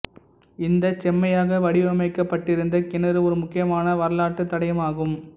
இந்த செம்மையாக வடிவமைக்கப்பட்டிருந்த கிணறு ஒரு முக்கியமான வரலாற்று தடயமாகும்